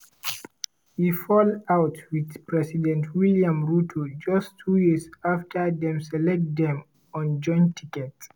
e fall out wit president william ruto just two years afta dem elect dem on joint ticket.